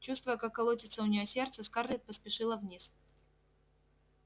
чувствуя как колотится у нее сердце скарлетт поспешила вниз